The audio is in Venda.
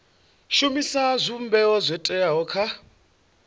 shumisa zwivhumbeo zwo teaho kha